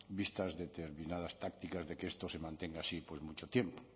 vistas determinadas tácticas de que esto se mantenga así por mucho tiempo